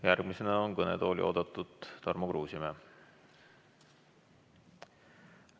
Järgmisena on kõnetooli oodatud Tarmo Kruusimäe.